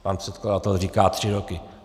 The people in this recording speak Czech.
Pan předkladatel říká tři roky.